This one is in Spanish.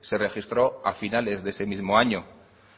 se registró a finales de ese mismo año